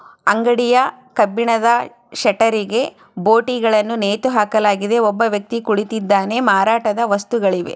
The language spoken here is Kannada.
ಅಂಗಡಿಯ ಕಬ್ಬಿಣದ ಶಟರಗೆ ಭೂಟಿಗಳನು ನೇತು ಹಾಕಲಾಗಿದೆ ಒಬ್ಬ ವ್ಯಕ್ತಿ ಕುಳಿತಿದ್ದಾನೆ ಮಾರಾಟದ ವಸ್ತುಗಳೂ ಇವೆ.